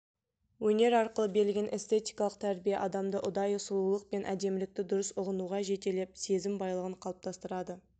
өнер арқылы берілген эстетикалық тәрбие адамды ұдайы сұлулық пен әдемілікті дұрыс ұғынуға жетелеп сезім байлығын қалыптастырады